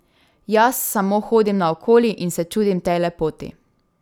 Jaz samo hodim naokoli in se čudim tej lepoti!